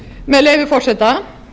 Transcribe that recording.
með leyfi forseta